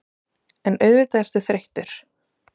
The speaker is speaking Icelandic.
En auðvitað ertu þreyttur.